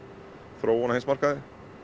þróun á heimsmarkaði